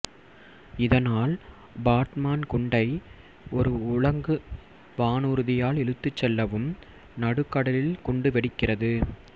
இதனால் பாட்மான் குண்டை ஒரு உலங்கு வானூர்தியால் இழுத்துச் செல்லவும் நடுக்கடலில் குண்டு வெடிக்கிறது